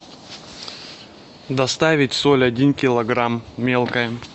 доставить соль один килограмм мелкая